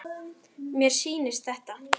Mér sýndist þetta.